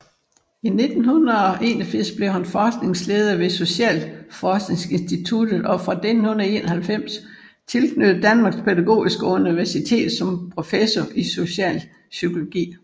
I 1981 blev han forskningsleder ved Socialforskningsinstituttet og fra 1991 tilknyttet Danmarks Pædagogiske Universitet som professor i socialpsykologi